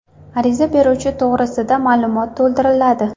Ariza beruvchi to‘g‘risida ma’lumot to‘ldiriladi.